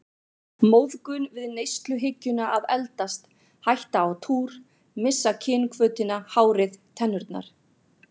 Móðgun við neysluhyggjuna að eldast, hætta á túr, missa kynhvötina, hárið, tennurnar.